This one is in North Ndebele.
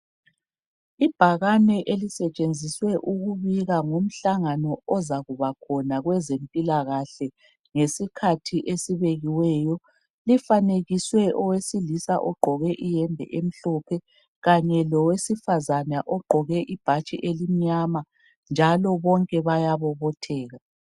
Ibhakane elisetshenziswe ukubika ngomhlangano ozakuba khona kwezempilakahle ngesikhathi esibekiweyo. Lifanekiswe owesilisa ogqoke iyembe emhlophe kanye lowe asifazana ogqoke ibhatshi elimnyama njalo bonke bayabobotheka.